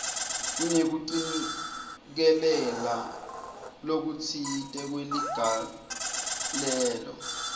kunekucikelela lokutsite kweligalelo